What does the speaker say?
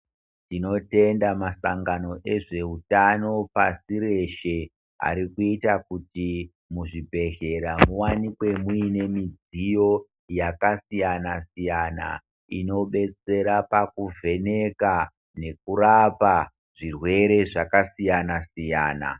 Tinotenda masangano ezveutano pasi reshe arikuita kuti muzvibhedhlera muvanikwe muine midziyo yakasiyana-siyana. Inobetsera pakuvheneka nekurapa zvirwere zvakasiyana-siyana.